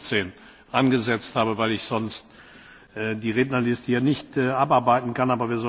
12.15 Uhr angesetzt habe, weil ich sonst die Rednerliste hier nicht abarbeiten kann.